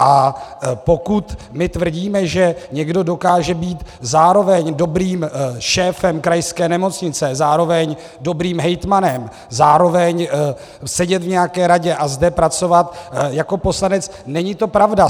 A pokud my tvrdíme, že někdo dokáže být zároveň dobrým šéfem krajské nemocnice, zároveň dobrým hejtmanem, zároveň sedět v nějaké radě a zde pracovat jako poslanec, není to pravda.